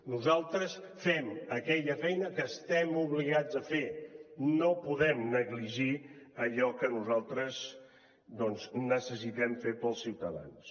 nosaltres fem aquella feina que estem obligats a fer no podem negligir allò que nosaltres doncs necessitem fer per als ciutadans